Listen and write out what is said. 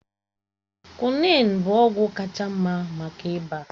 Kwị́nị́n inin bụ ọgwụ kacha mma maka ịba